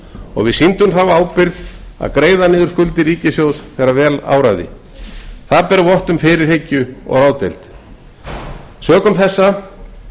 og við sýndum þá ábyrgð að greiða niður skuldir ríkissjóðs þegar vel áraði það ber vott um fyrirhyggju og ráðdeild sökum þessa